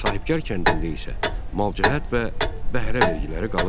Sahbəkar kəndində isə malcəhət və bəhrə vergiləri qalırdı.